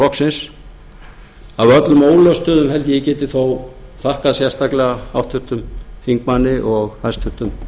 öllum ólöstuðum held ég að ég geti þó þakkað sérstaklega háttvirtur þingmaður og hæstvirtur